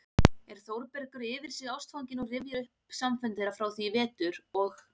er Þórbergur yfir sig ástfanginn og rifjar upp samfundi þeirra frá því í vetur og